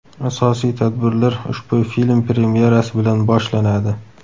Asosiy tadbirlar ushbu film premyerasi bilan boshlanadi.